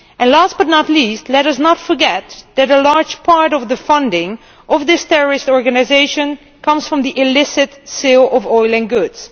Last but not least, let us not forget that a large part of the funding of this terrorist organisation comes from the illicit sale of oil and goods.